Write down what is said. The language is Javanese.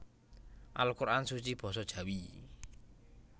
Al Quran Suci Basa Jawi